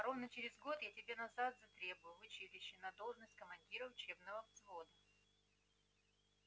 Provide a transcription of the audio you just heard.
а ровно через год я тебя назад затребую в училище на должность командира учебного взвода